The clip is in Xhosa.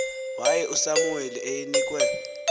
waye usamuweli eyinkwe